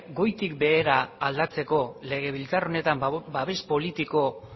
goitik behera aldatzeko legebiltzar honetan babes politiko